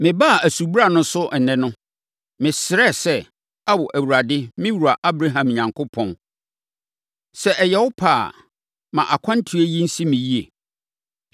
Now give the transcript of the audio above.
“Mebaa asubura no so ɛnnɛ no, mesrɛɛ sɛ, ‘Ao, Awurade, me wura Abraham Onyankopɔn, sɛ ɛyɛ wo pɛ a, ma akwantuo yi nsi me yie!